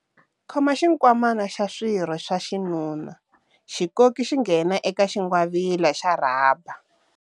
Khoma xinkwamana xa swirho swa xinuna, xi koki xi nghena eka xingwavila xa rhaba.